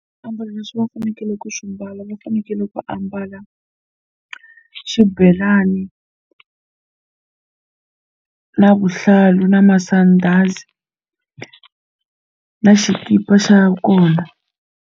Swiambalo leswi va fanekele ku swi mbala va fanekele ku ambala xibelani na vuhlalu na masandhazi na xikipa xa kona.